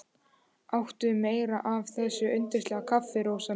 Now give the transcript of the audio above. Áttu meira af þessu yndislega kaffi, Rósa mín?